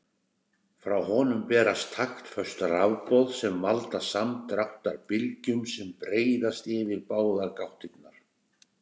Frá honum berast taktföst rafboð sem valda samdráttarbylgjum sem breiðast yfir báðar gáttirnar.